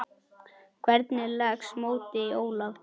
Hvernig leggst mótið í Ólaf?